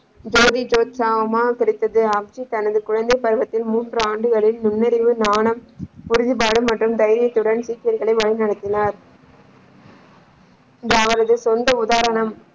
ஜோதி கிடைத்தது தனது குழந்தை பருவத்தில் மூன்று ஆண்டுகளில் முன்னறிவு, ஞானம், உறுதிப்பாடு மற்றும் தைரியத்துடன் சீக்கியர்களை வழி நடத்தினார். அவரது சொந்த உதாரணம்.